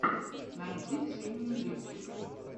найди ксению левчик